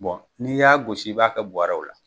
n'i y'a gosi i b'a kɛ bɔrɛw la.